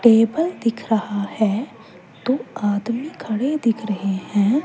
Table दिख रहा है दो आदमी खड़े दिख रहे हैं।